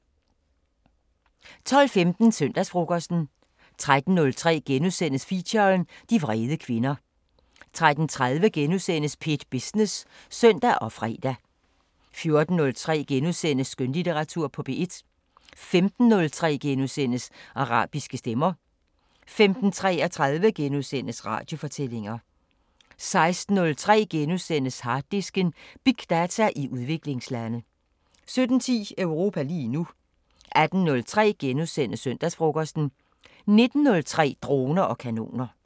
12:15: Søndagsfrokosten 13:03: Feature: De vrede kvinder * 13:30: P1 Business *(søn og fre) 14:03: Skønlitteratur på P1 * 15:03: Arabiske Stemmer * 15:33: Radiofortællinger * 16:03: Harddisken: Big data i udviklingslande * 17:10: Europa lige nu 18:03: Søndagsfrokosten * 19:03: Droner og kanoner